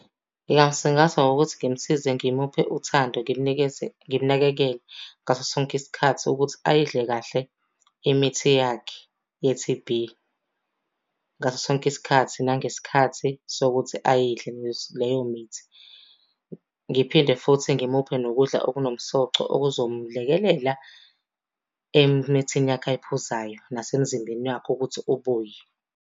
Ngingamsingatha ngokuthi ngimsize ngimuphe uthando, ngimnikeze ngimunakekele ngaso sonke isikhathi ukuthi ayidle kahle imithi yakhe ye-T_B. Ngaso sonke isikhathi nangesikhathi sokuthi ayidle leyo mithi. Ngiphinde futhi ngimuphe nokudla okunomsoco okuzomlekelela emithini yakhe ayiphuzayo nasemzimbeni wakhe ukuthi ubuye.